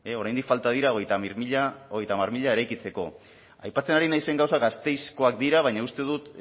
oraindik falta dira hogeita hamar mila eraikitzeko aipatzen ari naizen gauzak gasteizkoak dira baina uste dut